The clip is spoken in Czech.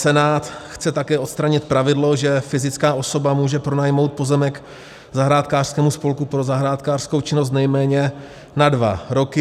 Senát chce také odstranit pravidlo, že fyzická osoba může pronajmout pozemek zahrádkářskému spolku pro zahrádkářskou činnost nejméně na dva roky.